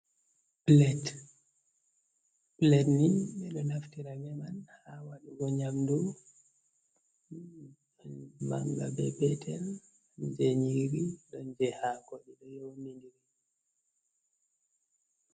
Pilet: Pilet nii ɓe ɗo naftira man ha waɗugo nyamdu ɗon banga be betel je nyiri ɗon je haako ɗiɗo nyow didiri.